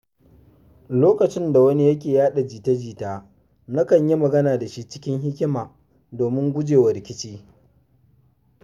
Lokacin da wani yake yaɗa jita-jita, nakan yi magana da shi cikin hikima domin guje wa rikici.